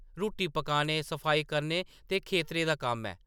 रुट्टी पकाने, सफाई करने ते खेतरें दा कम्म ऐ ।